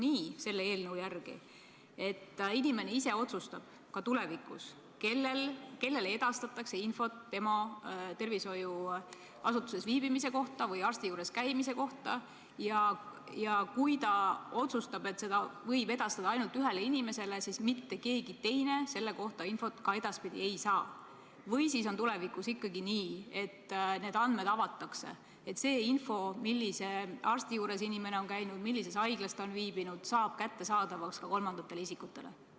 Kas selle eelnõu järgi on nii, et ka tulevikus inimene ise otsustab, kellele edastatakse infot tema tervishoiuasutuses viibimise või arsti juures käimise kohta, ja kui ta otsustab, et seda võib edastada ainult ühele inimesele, siis mitte keegi teine selle kohta ka edaspidi infot ei saa, või on tulevikus ikkagi nii, et need andmed avatakse ning see info, millise arsti juures inimene on käinud ja millises haiglas ta on viibinud, saab kättesaadavaks ka kolmandatele isikutele?